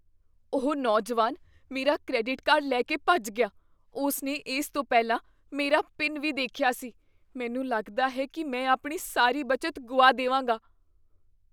ਉਹ ਨੌਜਵਾਨ ਮੇਰਾ ਕ੍ਰੈਡਿਟ ਕਾਰਡ ਲੈ ਕੇ ਭੱਜ ਗਿਆ। ਉਸ ਨੇ ਇਸ ਤੋਂ ਪਹਿਲਾਂ ਮੇਰਾ ਪਿਨ ਵੀ ਦੇਖਿਆ ਸੀ। ਮੈਨੂੰ ਲੱਗਦਾ ਹੈ ਕੀ ਮੈਂ ਆਪਣੀ ਸਾਰੀ ਬਚਤ ਗੁਆ ਦੇਵਾਂਗਾ।